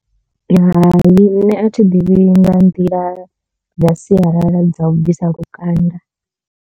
Hai nṋe a thi ḓivhi nga nḓila dza sialala dza u bvisa lukanda.